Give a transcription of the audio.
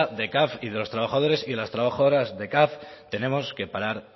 de caf y de los trabajadores y las trabajadoras de caf tenemos que parar